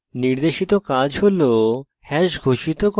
নির্দেশিত কাজ হল